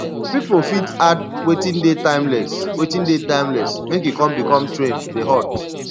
pipo fit add wetin dey timeless wetin dey timeless make e come become trend dey hot